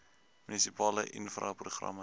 munisipale infra programme